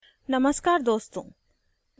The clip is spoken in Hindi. नमस्कार दोस्तों